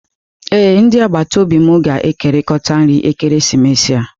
Ee, ndị agbata obi m ga-ekekọrịta nri ekeresimesi a.